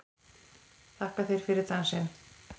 Þakka þér fyrir dansinn!